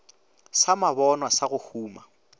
sa mabonwa sa go huma